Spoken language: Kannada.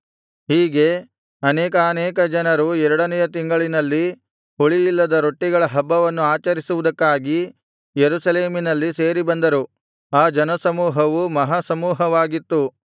ಹೀಗೆ ಅನೇಕಾನೇಕ ಜನರು ಎರಡನೆಯ ತಿಂಗಳಿನಲ್ಲಿ ಹುಳಿಯಿಲ್ಲದ ರೊಟ್ಟಿಗಳ ಹಬ್ಬವನ್ನು ಆಚರಿಸುವುದಕ್ಕಾಗಿ ಯೆರೂಸಲೇಮಿನಲ್ಲಿ ಸೇರಿಬಂದರು ಆ ಜನಸಮೂಹವು ಮಹಾಸಮೂಹವಾಗಿತ್ತು